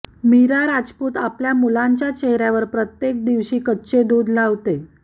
मीरा राजपूत आपल्या मुलांच्या चेहऱ्यावर प्रत्येक दिवशी कच्चे दूध लावते